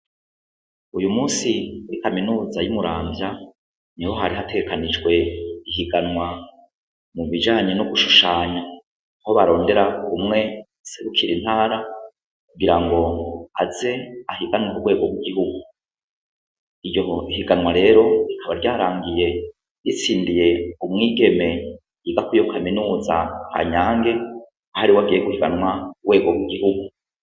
Uyu musi uri kaminuza y'imuramvya ni ho hari hateekanijwe ihiganwa mu bijanye no gushushanya aho barondera kumwe segukira intara kugira ngo aze ahiganwa kubwego bwihugu iryo ihiganwa rero rikaba ryarangiye sindiye umwigeme yigako iyo kaminuza hanyange hoari wo agiye gujanwa wego bu gihugu.